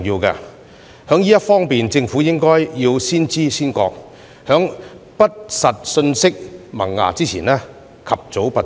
政府在這方面應先知先覺，在不實信息萌芽前及早拔除。